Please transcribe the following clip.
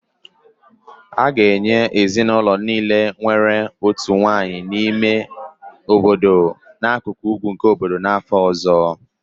A ga-enye ezinụlọ niile nwere otu nwanyị n'ime ime obodo n'akụkụ ugwu nke obodo n'afọ ọzọ